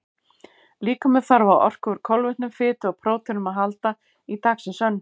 Líkaminn þarf á orku úr kolvetnum, fitu og próteinum að halda í dagsins önn.